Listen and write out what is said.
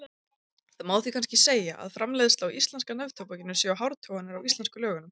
Það má því kannski segja að framleiðsla á íslenska neftóbakinu séu hártoganir á íslensku lögunum.